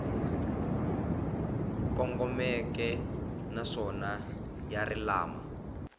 kongomeke naswona ya ri lama